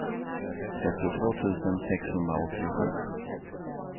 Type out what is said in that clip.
trettiotvå tusen sexhundraåttiosju